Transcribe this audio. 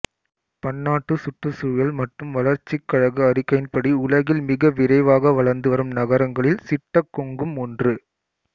பன்னாட்டு சுற்றுச்சூழல் மற்றும் வளர்ச்சிக் கழக அறிக்கையின்படி உலகில் மிக விரைவாக வளர்ந்துவரும் நகரங்களில் சிட்டகொங்கும் ஒன்று